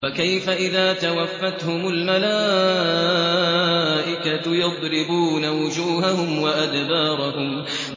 فَكَيْفَ إِذَا تَوَفَّتْهُمُ الْمَلَائِكَةُ يَضْرِبُونَ وُجُوهَهُمْ وَأَدْبَارَهُمْ